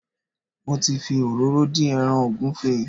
Mo ti fi òróró dín ẹran ògúnfe